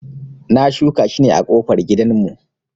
Na shuka shi ne a kofar gidan mu